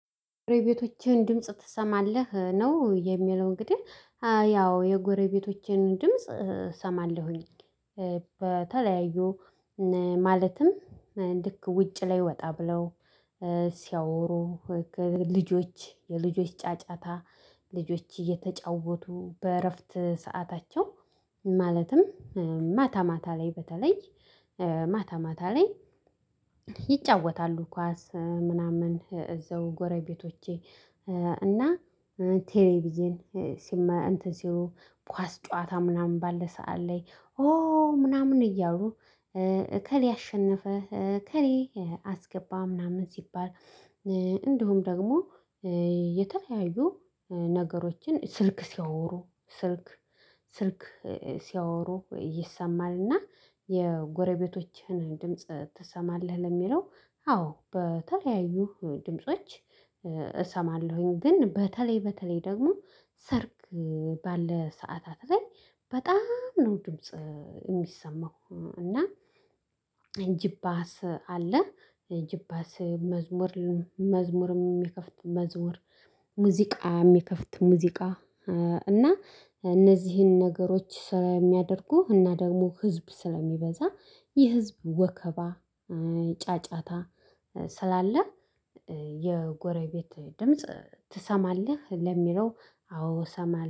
ጎረቤቶችህን ድምጽ ትሰማለህ ነው የሚለው እንግዲህ ያው የጎረቤቶቼን ድምጽ እሰማለሁኝ በተለያዩ ማለትም ልክ ውጭ ላይ ወጣ ብለው ሲያወሩ ልጆች የልጆች ጫጫታ ልጆች እየተጫወቱ በእረፍት ሰአታቸው ማለትም ማታ ማታ ላይ በተለይ ማታ ማታ ላይ ይጫወታሉ ኳስ ምናምን እዛው ጎረቤቶቼ እና ቴሌቪዥን ሲመ እንትን ሲሉ ኳስ ጨዋታ ምናምን ባለ ሰዓት ላይ ኦ ምናምን እያሉ እከሌ አሸነፈ እከሌ አስገባ ምናምን ሲባል እንዲሁም ደግሞ የተለያዩ ነገሮችን ስልክ ሲያወሩ ስልክ ስልክ ሲያወሩ ይሰማል እና የጎረቤቶችህን ድምጽ ትሰማለህ ለሚለው? አዎ በተለያዩ ድምጾች። እሰማለሁኝ ግን በተለይ በተለይ ደግሞ ሰርግ ባለ ሰዓታት ላይ በጣም ነው ድምጽ የሚሰማው። እና ጂፖስ አስ አለ ጂፖስ መዝሙር መዝሙርም የሚከፍት መዝሙር ሙዚቃ የሚከፍት ሙዚቃ እና እነዚህን ነገሮች ስራ የሚያደርጉህ እና ደግሞ ህዝብ ስለሚበዛ የህዝብ ወከባ። ጫጫታ ስላለ የጎረቤት ድምጽ ትሰማለህ ለሚለው አዎ ሰማለ